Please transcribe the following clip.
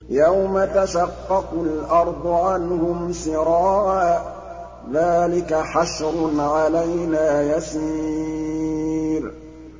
يَوْمَ تَشَقَّقُ الْأَرْضُ عَنْهُمْ سِرَاعًا ۚ ذَٰلِكَ حَشْرٌ عَلَيْنَا يَسِيرٌ